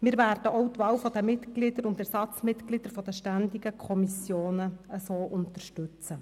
Wir werden auch die Wahl der Mitglieder und Ersatzmitglieder der ständigen Kommissionen so unterstützen.